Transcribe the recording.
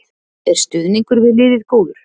Er stuðningur við liðið góður?